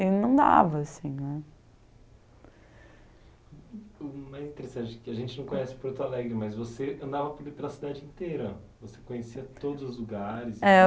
e não dava assim né. Bem interessante que a gente não conhece em Porto Alegre, mas você andava pela cidade inteira. Você conhecia todos os lugares. É